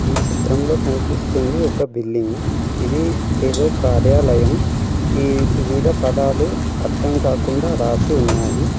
ఈ చిత్రంలో కనిపిస్తుంది ఒక బిల్డింగు ఇది ఏదో కార్యాలయం ఈటి మీద పదాలు అర్థం కాకుండా రాసి ఉన్నాయి.